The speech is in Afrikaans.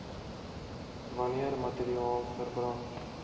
wanneer materiaal verbrand